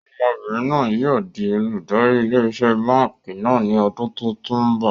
Ọmọbìnrin náà yìí ó di olùdarí ilé iṣẹ́ báànkì náà ni ọdún tòun bọ̀.